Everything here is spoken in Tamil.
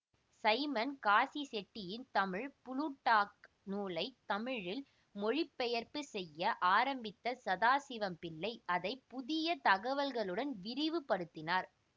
சைமன் காசிச்செட்டியின் தமிழ் புளூட்டாக் நூலைத் தமிழில் மொழிபெயர்ப்புச் செய்ய ஆரம்பித்த சதாசிவம்பிள்ளை அதை புதிய தகவல்களுடன் விரிவு படுத்தினார்